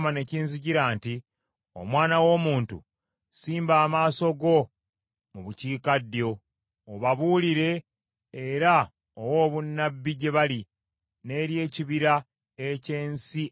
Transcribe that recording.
“Omwana w’omuntu, simba amaaso go mu bukiikaddyo, obabuulire era owe obunnabbi gye bali n’eri ekibira eky’ensi ey’Obukiikaddyo.